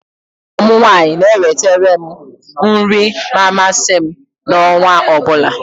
Ọgọ m nwaanyị na eweterem nri ma amasị m na ọnwa ọbụla